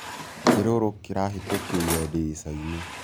Kĩrũrũ kĩrahĩtũkĩĩre ndĩrĩcaĩnĩ